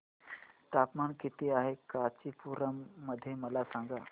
तापमान किती आहे कांचीपुरम मध्ये मला सांगा